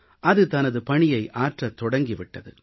அது தனது பணியை ஆற்றத் தொடங்கி விட்டது